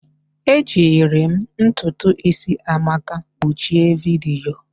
Ejiri m ntutu isi maka mkpuchi vidiyo